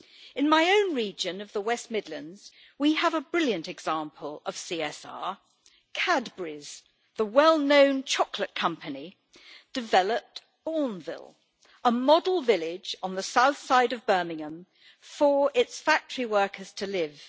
In my own region of the West Midlands we have a brilliant example of CSR Cadbury's, the well known chocolate company developed Bourneville, a model village on the south side of Birmingham for its factory workers to live.